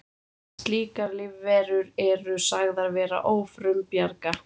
Slíkar lífverur eru sagðar vera ófrumbjarga.